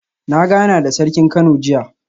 Na gana da Sarkin Kano jiya